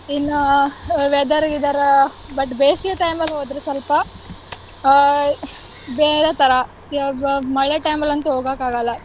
ಇನ್ನ uh weather ಗಿದರ್ ah but ಬೇಸಿಗೆ time ಅಲ್ ಹೋದ್ರೆ ಸ್ವಲ್ಪ ಅಹ್ ಬೇರೆ ತರ ಅಹ್ ಬ~ ಮಳೆ time ಅಲ್ಲಂತೂ ಹೋಗಕ್ಕಾಗಲ್ಲ.